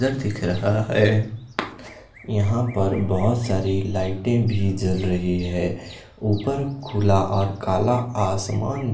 दिख रहा है यहां पर बहोत सारी लाइटे भी जल रही है ऊपर खुला और काला आसमान--